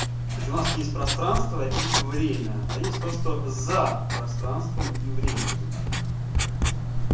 то есть у нас есть пространство и время а есть то что за пространством и временем